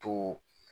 To